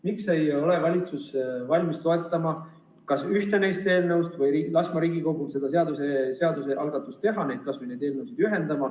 Miks te ei ole valitsuses valmis toetama ühte neist eelnõudest või laskma Riigikogul kas või need eelnõud ühendada?